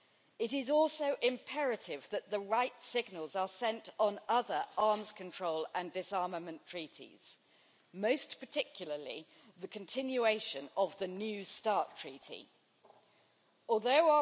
It is also imperative that the right signals are sent on other arms control and disarmament treaties, most particularly the continuation of the new Strategic Arms Reduction Treaty Although